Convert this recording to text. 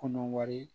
Kɔnɔ wari